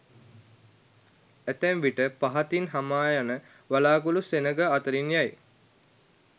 ඇතැම් විට පහතින් හමායන වලාකුළු සෙනඟ අතරින් යයි.